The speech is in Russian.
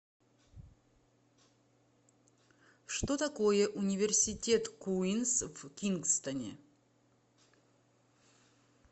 что такое университет куинс в кингстоне